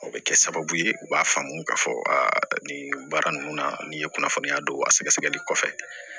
O bɛ kɛ sababu ye u b'a faamu k'a fɔ nin baara ninnu na nin ye kunnafoniya don a sɛgɛsɛgɛli kɔfɛ